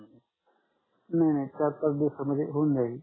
नाही नाही चार पाच दिवस मध्ये होऊन जाईल